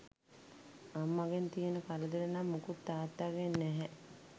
අම්මගෙන් තියෙන කරදර නම් මුකුත් තාත්තාගෙන් නැහැ